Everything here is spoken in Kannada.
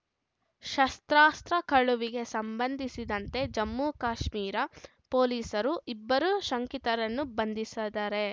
ಶಸ್ತ್ರಾಸ್ತ್ರ ಕಳುವಿಗೆ ಸಂಬಂಧಿಸಿದಂತೆ ಜಮ್ಮುಕಾಶ್ಮೀರ ಪೊಲೀಸರು ಇಬ್ಬರು ಶಂಕಿತರನ್ನು ಬಂಧಿಸದರೆ